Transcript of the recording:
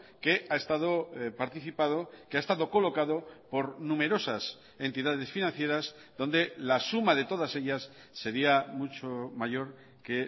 que ha estado participado que ha estado colocado por numerosas entidades financieras donde la suma de todas ellas sería mucho mayor que